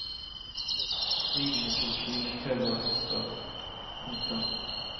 Ridende politi med køller og hester. punktum